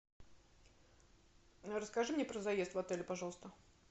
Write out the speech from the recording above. расскажи мне про заезд в отеле пожалуйста